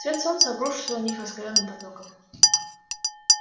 свет солнца обрушился на них раскалённым потоком